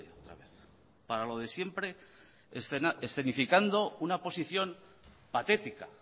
otra vez para lo de siempre escenificando una posición patética